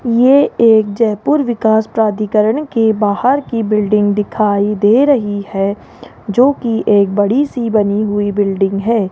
ये एक जयपुर विकास प्राधिकरण के बाहर की बिल्डिंग दिखाई दे रही है जो की एक बड़ी सी बनी हुई बिल्डिंग है।